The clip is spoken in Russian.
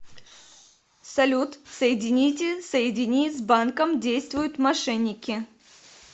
салют соедините соедини с банком действуют мошенники